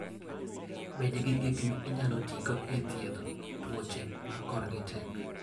Bed gi gik minyalo tigo e thiedho tuoche ma korgi tek.